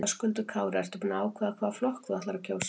Höskuldur Kári: Ertu búin að ákveða hvaða flokk þú ætlar að kjósa?